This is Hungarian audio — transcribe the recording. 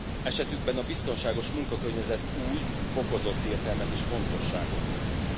Esetükben a biztonságos munkakörnyezet új, fokozott értelmet és fontosságot nyert.